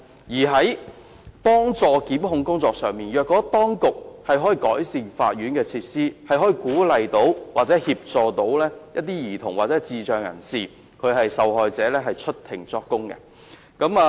在幫助檢控工作上，當局可改善法院設施，以鼓勵或協助兒童或智障人士受害者出庭作供。